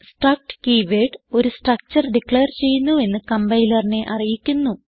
struct keyword ഒരു structure declare ചെയ്യുന്നുവെന്ന് കംപൈലറിനെ അറിയിക്കുന്നു